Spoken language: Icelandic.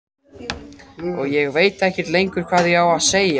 Og ég veit ekkert lengur hvað ég á að segja.